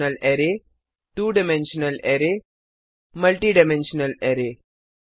two dimensional array two dimensional array और multi dimensional array multi dimensional array